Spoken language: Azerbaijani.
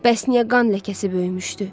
Bəs niyə qan ləkəsi böyümüşdü?